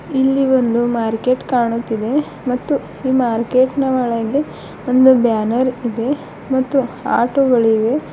ಇಲ್ಲಿ ಒಂದು ಮಾರ್ಕೆಟ್ ಕಾಣುತ್ತಿದೆ ಮತ್ತು ಈ ಮಾರ್ಕೆಟ್ ನ ಒಳಗೆ ಒಂದು ಬ್ಯಾನರ್ ಇದೆ ಮತ್ತು ಆಟೋಗಳಿವೆ.